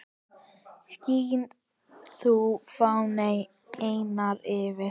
Skín þú, fáni, eynni yfir